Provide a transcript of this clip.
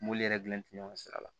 Mobili yɛrɛ dilan tɛ ɲɔgɔn sira la